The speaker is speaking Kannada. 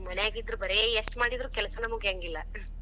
ಮನ್ಯಾಗ ಇದ್ದರ ಬರೇ ಎಷ್ಟ ಮಾಡಿದ್ರೂ ಕೆಲ್ಸನ ಮುಗ್ಯಾಂಗಿಲ್ಲಾ.